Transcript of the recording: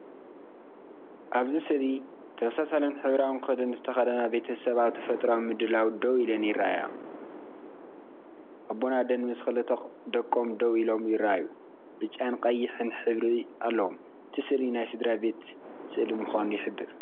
ኣብዚ ስእሊ ተመሳሳሊን ሕብራዊን ክዳን ዝተኸድነት ስድራቤት ኣብ ተፈጥሮኣዊ ምድላው ደው ኢላ ይራኣዩ። ኣቦን ኣደን ምስ ክልተ ደቆም ደው ኢሎም ይረኣዩ ብጫን ቀጠልያን ሕብሪ ኣለዎ። እቲ ስእሊ ናይ ስድራቤት ስእሊ ምዃኑ ይሕብር።